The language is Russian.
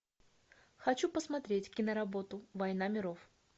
хочу посмотреть киноработу война миров